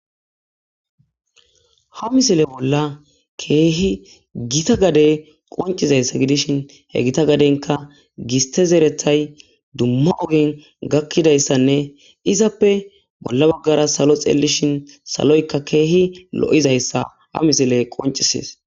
Ha misile bolla keehi gita gade qoncizayssa gidishin he gita gadenka giste zerethay dumma ogin gakkidayssanne izappe bolla baggara salo xelishin saloyka keehi lo7izayssa ha misile qoncises